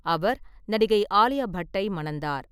அவர் நடிகை ஆலியா பட்டை மணந்தார்.